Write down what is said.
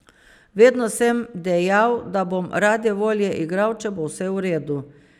Vedno sem dejal, da bom rade volje igral, če bo vse v redu.